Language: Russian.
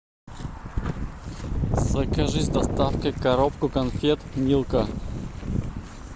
закажи с доставкой коробку конфет милка